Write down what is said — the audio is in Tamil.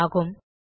கியூப் ஆகும்